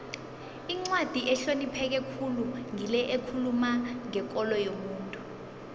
incwadi ehlonipheke khulu ngile ekhuluma ngekolo yomuntu